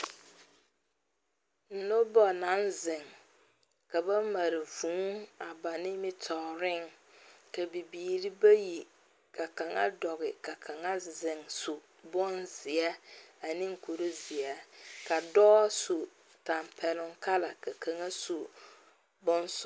Noba naŋ zeŋ ka ba mare vʋʋ a ba nimitɔreŋ, ka bibiiri bayi ka kaŋa doɔ ka kaŋa zeŋ su bonzeɛ a seɛ ne kuri zeɛ, ka dɔɔ su kpare tampɛloŋ ka kaŋ. su bon sɔglɔ.